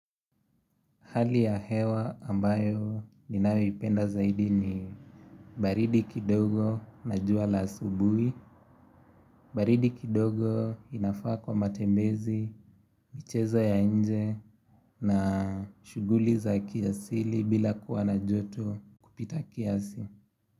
Hali ya hewa ambayo ninawo ipenda zaidi ni baridi kidogo na jua la asubui, baridi kidogo inafaa kwa matembezi, michezo ya nje na shuguli za kiasili bila kuwa na joto kupita kiasi.